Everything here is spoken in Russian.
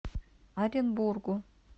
оренбургу